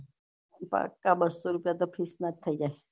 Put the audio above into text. પાક્કા બસ્સો રુપયા તો fees ના થઇ જાય